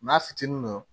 N'a fitinin don